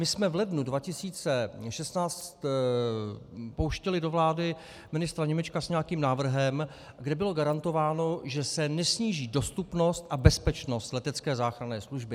My jsme v lednu 2016 pouštěli do vlády ministra Němečka s nějakým návrhem, kde bylo garantováno, že se nesníží dostupnost a bezpečnost letecké záchranné služby.